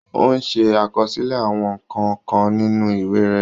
Ó ń ṣe àkọsílẹ̀ àwọn nǹkan kan nínú ìwé rẹ̀.